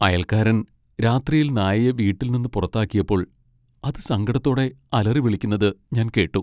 അയൽക്കാരൻ രാത്രിയിൽ നായയെ വീട്ടിൽ നിന്ന് പുറത്താക്കിയപ്പോൾ അത് സങ്കടത്തോടെ അലറിവിളിക്കുന്നത് ഞാൻ കേട്ടു .